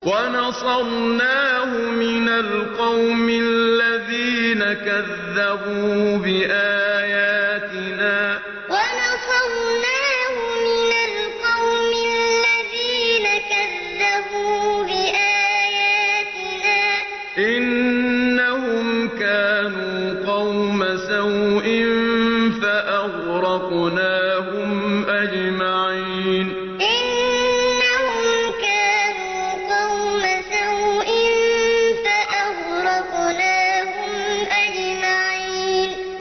وَنَصَرْنَاهُ مِنَ الْقَوْمِ الَّذِينَ كَذَّبُوا بِآيَاتِنَا ۚ إِنَّهُمْ كَانُوا قَوْمَ سَوْءٍ فَأَغْرَقْنَاهُمْ أَجْمَعِينَ وَنَصَرْنَاهُ مِنَ الْقَوْمِ الَّذِينَ كَذَّبُوا بِآيَاتِنَا ۚ إِنَّهُمْ كَانُوا قَوْمَ سَوْءٍ فَأَغْرَقْنَاهُمْ أَجْمَعِينَ